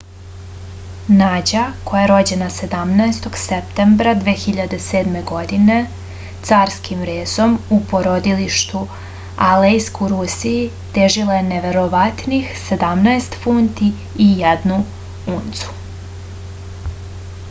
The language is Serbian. nađa koja je rođena 17. septembra 2007. godine carskim rezom u porodilištu alejsk u rusiji težila je neverovatnih 17 funti i 1 uncu